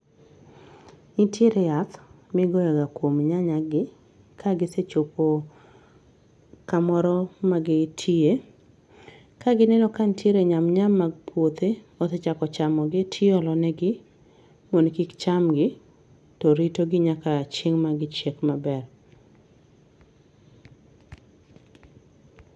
Nitiere yath ma igoyoga kuom nyanya gi ka gisechopo kamoro ma gitie. Ka gineno ka nitiere nyam nyam mag puothe, osechako chamogi tiolonegi mondo kik chamgi to rito gi nyaka chieng' ma gichiek maber.